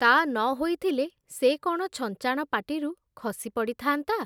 ତା ନ ହୋଇଥିଲେ, ସେ କ’ଣ ଛଞ୍ଚାଣ ପାଟିରୁ ଖସିପଡ଼ିଥାନ୍ତା ।